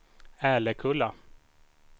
Älekulla